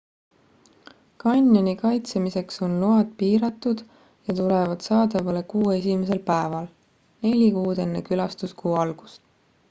kanjoni kaitsemiseks on load piiratud ja tulevad saadavale kuu esimesel päeval neli kuud enne külastuskuu algust